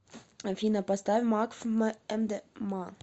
афина поставь макф эмдэма